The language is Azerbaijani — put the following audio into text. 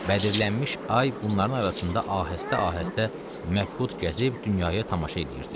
Bədirlənmiş ay bunların arasında ahəstə-ahəstə məbhut gəzib dünyaya tamaşa eləyirdi.